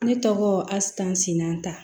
Ne tɔgɔ asaninan ta